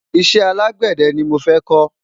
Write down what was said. iṣẹ alágbède ní mọ fẹ ko